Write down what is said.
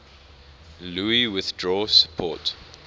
louis withdrew support